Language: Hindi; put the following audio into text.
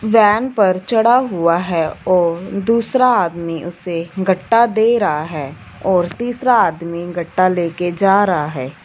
वैन पर चढ़ा हुआ है और दूसरा आदमी उसे गट्टा दे रहा है और तीसरा आदमी गट्टा लेके जा रहा है।